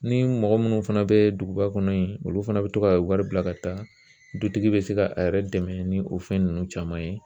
Ni mɔgɔ minnu fana bɛ duguba kɔnɔ yen, olu fana bɛ to ka wari bila ka taa, dutigi bɛ se k'a yɛrɛ dɛmɛ ni o fɛn ninnu caman ye.